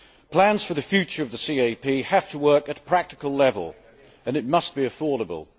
Plans for the future of the CAP have to work at a practical level and it must be affordable.